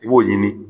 I b'o ɲini